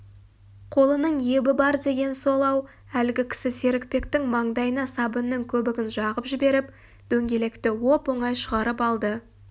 қолының ебі бар деген сол-ау әлгі кісі серікбектің маңдайына сабынның көбігін жағып жіберіп дөңгелекті оп-оңай шығарып алды